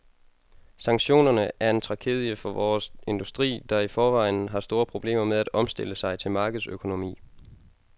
Sanktionerne er en tragedie for vores industri, der i forvejen har store problemer med at omstille sig til markedsøkonomi.